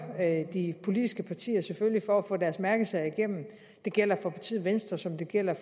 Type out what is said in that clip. de politiske partier selvfølgelig for at få deres mærkesager igennem det gælder for partiet venstre som det gælder